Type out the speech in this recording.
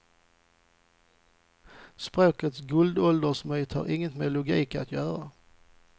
Språkets guldåldersmyt har inget med logik att göra.